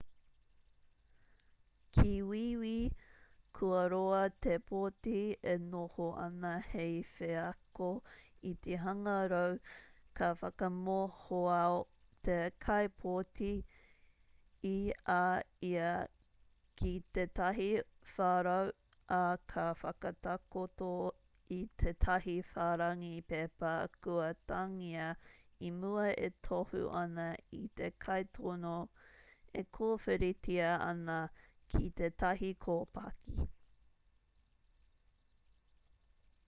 ki wīwī kua roa te pōti e noho ana hei wheako iti-hangarau ka whakamohoao te kaipōti i a ia ki tētahi wharau ā ka whakatakoto i tētahi whārangi pepa kua tāngia i mua e tohu ana i te kaitono e kōwhiritia ana ki tētahi kōpaki